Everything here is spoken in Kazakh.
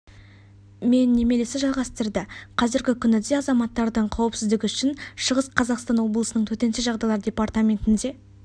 мен немересі жалғастырды қазіргі күні де азаматтардың қауіпсіздігі үшін шығыс қазақстан облысының төтенше жағдайлар департаментінде